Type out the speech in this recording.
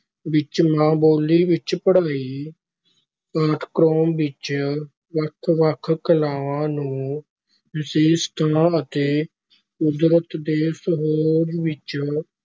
ਵਿਚ ਮਾਂ ਬੋਲੀ ਵਿਚ ਪੜਾਈ, ਪਾਠਕ੍ਰਮ ਵਿੱਚ ਵੱਖ-ਵੱਖ ਕਲਾਵਾਂ ਨੂੰ ਵਿਸ਼ੇਸ਼ ਥਾਂ ਅਤੇ ਕੁਦਰਤ ਦੇ ਸੁੱਹਜ ਵਿਚ